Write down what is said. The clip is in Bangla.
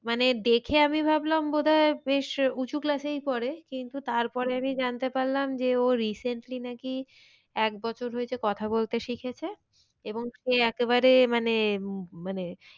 মানে দেখে আমি ভাবলাম বোধয় বেশ উঁচু class এই পরে কিন্তু তারপরে আমি জানতে পারলাম ও rcently নাকি এক বছর হয়েছে কথা বলতে শিখেছে। এবং সে একে বারে মানে উম মানে,